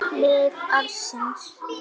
Lið ársins